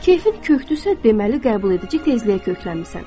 Keyfin kökdüsə, deməli qəbul edici tezliyə köklənmisən.